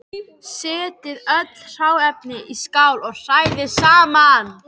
Setjið öll hráefnin í skál og hrærið saman.